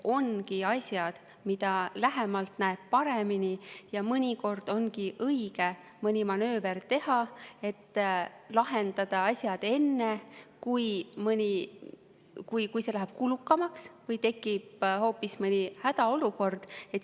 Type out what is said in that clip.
Ongi asju, mida lähemalt näeb paremini, ja mõnikord ongi õige mõni manööver teha, et lahendada enne, kui see läheb kulukamaks või tekib hoopis hädaolukord.